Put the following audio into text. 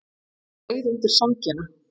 Ég skreið undir sængina.